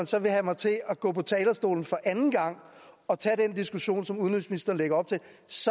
så vil have mig til at gå på talerstolen for anden gang og tage den diskussion som udenrigsministeren lægger op til